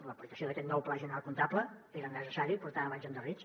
l’aplicació d’aquest nou pla general comptable era necessari portàvem anys endarrerits